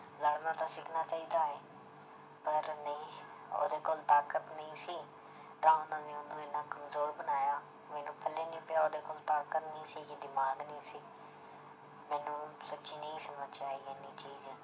ਲੜਨਾ ਤਾਂ ਸਿੱਖਣਾ ਚਾਹੀਦਾ ਹੈ, ਪਰ ਨਹੀਂ ਉਹਦੇ ਕੋਲ ਤਾਕਤ ਨਹੀਂ ਸੀ ਤਾਂ ਉਹਨਾਂ ਨੇ ਉਹਨੂੰ ਇੰਨਾ ਕਮਜ਼ੋਰ ਬਣਾਇਆ ਮੈਨੂੰ ਪੱਲੇ ਨੀ ਪਿਆ ਉਹਦੇ ਕੋਲ ਤਾਕਤ ਨੀ ਸੀਗੀ ਦਿਮਾਗ ਨੀ ਸੀ ਮੈਨੂੰ ਸੱਚੀ ਨਹੀਂ ਸਮਝ 'ਚ ਆਈ ਇੰਨੀ ਚੀਜ਼